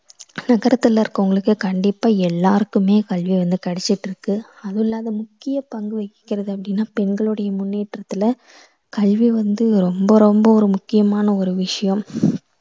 நகரத்துல இருக்கவங்களுக்கே கண்டிப்பா எல்லாருக்குமே கல்வி வந்து கிடைச்சுட்டிருக்கு. அதுவுமில்லாம முக்கிய பங்கு வகிக்கறது அப்படின்னா பெண்களுடய முன்னேற்றத்துல கல்வி வந்து ரொம்ப ரொம்ப ஒரு முக்கியமான ஒரு விஷயம்.